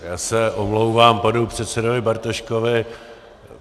Já se omlouvám panu předsedovi Bartoškovi.